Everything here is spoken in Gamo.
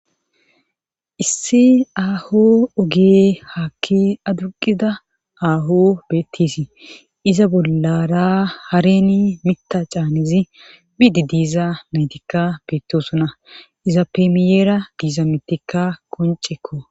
Issi aaho oge haakki aduqida aaho beettisii iza bollara hareni mita caanizi biidi diiza naytikka beettosuna iza peemiyeera diiza mettikka koncekko.